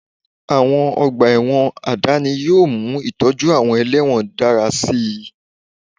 Àwọn ọgbà ẹ̀wọ̀n àdáni yóò mú ìtọ́jú àwọn ẹlẹ́wọ̀n dára sí i